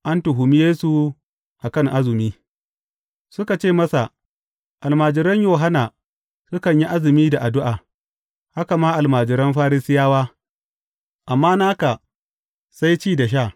An tuhumi Yesu a kan azumi Suka ce masa, Almajiran Yohanna sukan yi azumi da addu’a, haka ma almajiran Farisiyawa, amma naka sai ci da sha.